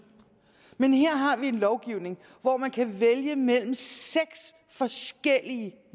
men her har vi en lovgivning hvor man kan vælge mellem seks forskellige